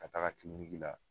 Ka taga la